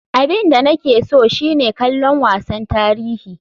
Abin da nake so shine kallon wasan tarihi.